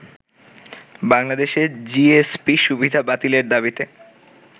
বাংলাদেশের জিএসপি-সুবিধা বাতিলের দাবিতে